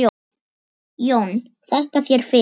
JÓN: Þakka þér fyrir!